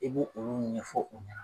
I bɛ olu ɲɛfɔ u ɲɛna.